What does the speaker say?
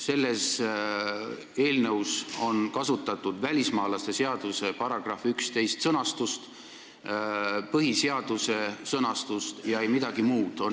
Selles eelnõus on kasutatud välismaalaste seaduse § 11 sõnastust ja põhiseaduse sõnastust ning ei midagi muud.